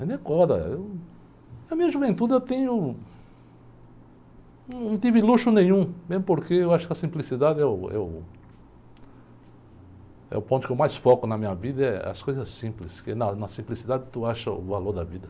eu... Na minha juventude eu tenho, num, não tive luxo nenhum, mesmo porque eu acho que a simplicidade é o, é o, é o ponto que eu mais foco na minha vida, é as coisas simples, porque na, na simplicidade tu acha o valor da vida.